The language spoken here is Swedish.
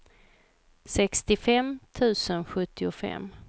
sextiofem tusen sjuttiofem